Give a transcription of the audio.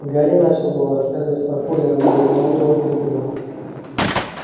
гарри начал было рассказывать про колина но гермиона его перебила